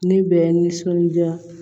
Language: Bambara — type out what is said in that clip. Ne bɛ nisɔndiya